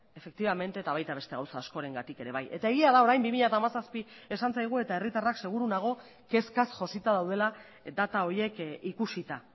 efektibamente eta baita beste gauza askorengatik ere bai eta egia da orain bi mila hamazazpi esan zaigu eta herritarrak seguru nago kezkaz josita daudela data horiek ikusita